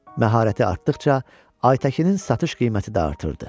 Məharəti artdıqca, Aytəkinin satış qiyməti də artırdı.